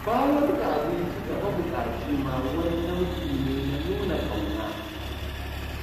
Bayar da abinci ga mabuƙaci ma wani nau'i ne na nuna ƙauna